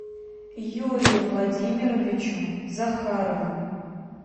юрию владимировичу захарову